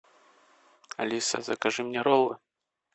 алиса закажи мне роллы